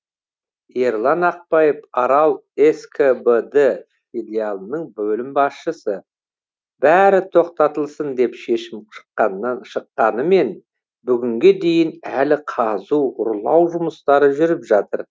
ерлан ақпаев арал скбд филиалының бөлім басшысы бәрі тоқтатылсын деп шешім шыққанымен бүгінге дейін әлі қазу ұрлау жұмыстары жүріп жатыр